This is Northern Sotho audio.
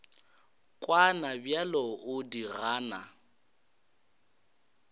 kwana bjale o di gana